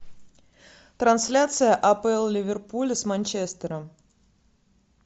трансляция апл ливерпуля с манчестером